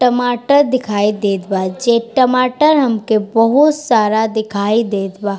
टमाटर दिखाई देत बा जे टमाटर हमके बहुत सारा दिखाई देत बा।